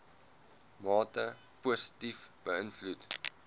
mate positief beïnvloed